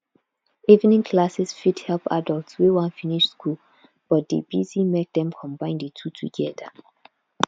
evening classes fit help adults wey wan finish school but dey busy make dem combine di two together